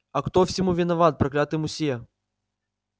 а кто всему виноват проклятый мусье